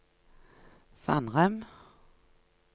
Fannrem